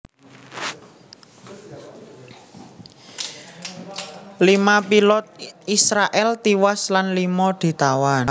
Lima pilot Israèl tiwas lan lima ditawan